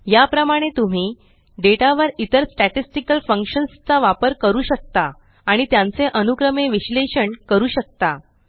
या प्रमाणे तुम्ही डेटा वर इतर स्टॅटिस्टिकल फंक्शन्स चा वापर करू शकता आणि त्यांचे अनुक्रमे विश्लेषण करू शकता